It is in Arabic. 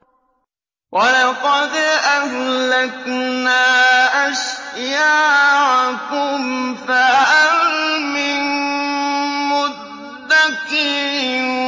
وَلَقَدْ أَهْلَكْنَا أَشْيَاعَكُمْ فَهَلْ مِن مُّدَّكِرٍ